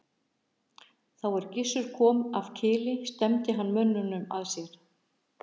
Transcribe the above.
Þá er Gissur kom af Kili stefndi hann mönnum að sér.